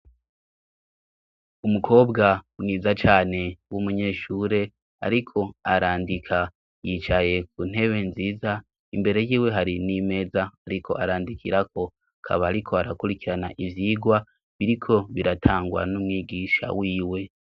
Umukobwa mwiza cane w'umunyeshure ariko arandika yicaye ku ntebe nziza imbere yiwe hari n'imeza ariko arandikirako akaba ariko arakurikirana ivyigwa biriko biratangwa n'umwigisha wiwe.